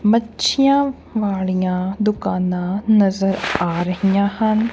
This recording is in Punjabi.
ਮੱਛੀਆਂ ਵਾਲੀਆਂ ਦੁਕਾਨਾਂ ਨਜ਼ਰ ਆ ਰਹੀਆਂ ਹਨ।